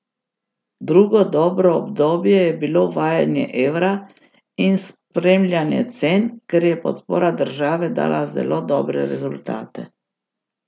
Drugo dobro obdobje je bilo uvajanje evra in spremljanje cen, kjer je podpora države dala zelo dobre rezultate.